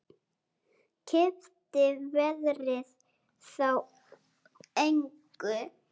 Skipti veðrið þá engu.